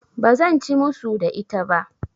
Ba zan ci musu da ita ba.